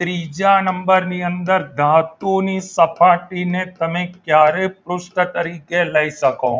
ત્રીજા નંબરની અંદર ધાતુ ની સપાટી ને તમે ક્યારેય પૃષ્ઠ તરીકે લઈ શકો